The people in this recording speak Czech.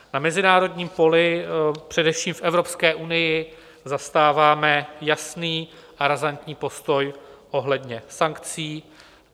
Na mezinárodním poli, především v Evropské unii, zastáváme jasný a razantní postoj ohledně sankcí.